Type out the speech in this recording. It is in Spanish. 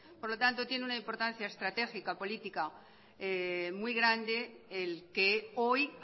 por lo tanto tiene una importancia estratégica política muy grande el que hoy